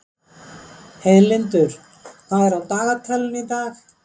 Heiðlindur, hvað er á dagatalinu í dag?